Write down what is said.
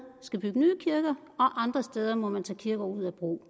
skal bygge nye kirker og andre steder må man tage kirker ud af brug